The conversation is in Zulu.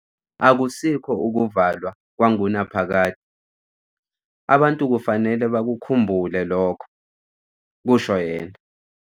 "Akusikho ukuvalwa kwangunaphakade, abantu kufanele bakukhumbule lokho," kusho yena.